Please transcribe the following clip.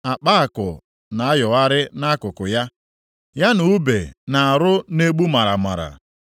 Akpa àkụ na-ayọgharị nʼakụkụ ya, ya na ùbe na arụa na-egbu maramara.